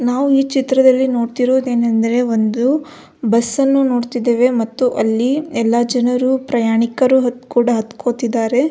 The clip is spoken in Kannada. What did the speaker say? ನಾವು ಈ ಚಿತ್ರದಲ್ಲಿ ನೋಡ್ತಿರೋದು ಏನಂದರೆ ಒಂದು ಬಸ್ಸನ್ನು ನೊಡ್ತಿದೇವೆ ಮತ್ತು ಅಲ್ಲಿ ಎಲ್ಲ ಜನರು ಪ್ರಯಾಣಿಕರು ಕೂಡ ಹತ್ತ್ಕೊಳ್ತಿದ್ದಾರೆ.